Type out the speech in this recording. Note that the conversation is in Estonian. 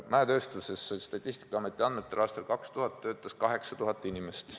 Statistikaameti andmetel töötas mäetööstuses 2000. aastal 8000 inimest.